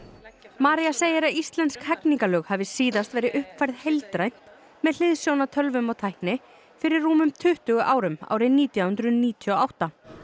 María segir að íslensk hegningarlög hafi síðast verið uppfærð heildrænt með hliðsjón af tölvum og tækni fyrir rúmum tuttugu árum árið nítján hundruð níutíu og átta